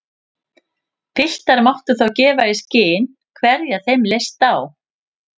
Piltar máttu þá gefa í skyn hverja þeim leist á.